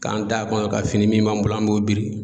K'an da kɔnɔ ka fini min b'an bolo an b'o biri.